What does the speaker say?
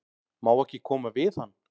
Má ekki koma við hann?